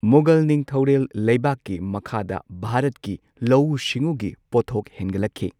ꯃꯨꯘꯜ ꯅꯤꯡꯊꯧꯔꯦꯜ ꯂꯩꯕꯥꯛꯀꯤ ꯃꯈꯥꯗ ꯚꯥꯔꯠꯀꯤ ꯂꯧꯎ ꯁꯤꯡꯎꯒꯤ ꯄꯣꯠꯊꯣꯛ ꯍꯦꯟꯒꯠꯂꯛꯈꯤ꯫